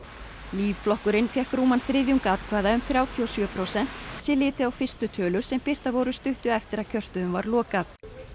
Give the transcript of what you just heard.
lýðflokkurinn fékk rúman þriðjung atkvæða um þrjátíu og sjö prósent sé litið á fyrstu tölur sem birtar voru stuttu eftir að kjörstöðum var lokað